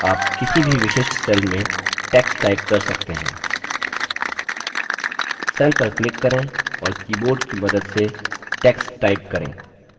आप किसी भी विशिष्ट cell में text type कर सकते हैं cell पर क्लिक करें और keyboard कि मदद से text type करें